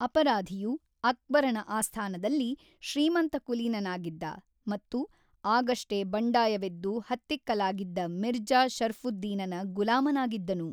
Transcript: ಅಪರಾಧಿಯು, ಅಕ್ಬರನ ಆಸ್ಥಾನದಲ್ಲಿ ಶ್ರೀಮಂತಕುಲೀನನಾಗಿದ್ದ ಮತ್ತು ಆಗಷ್ಟೇ ಬಂಡಾಯವೆದ್ದು ಹತ್ತಿಕ್ಕಲಾಗಿದ್ದ ಮಿರ್ಜಾ ಶರ್ಫುದ್ದೀನನ ಗುಲಾಮನಾಗಿದ್ದನು.